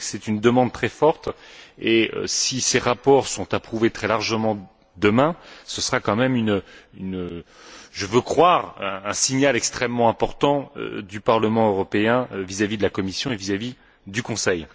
Je crois que c'est une demande très forte, et si ces rapports sont approuvés très largement demain, ce sera quand même je veux le croire un signal extrêmement important du Parlement européen vis à vis de la Commission et vis à vis du Conseil.